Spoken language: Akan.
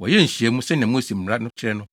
wɔyɛɛ nhyiamu, sɛnea Mose mmara no kyerɛ no.